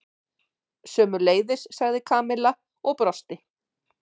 Sömuleiðis sagði Kamilla og brosti.